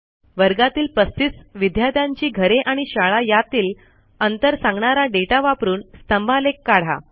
वर्गातील 35 विद्यार्थ्यांची घरे आणि शाळा यातील अंतर सांगणारा दाता वापरून स्तंभालेख काढा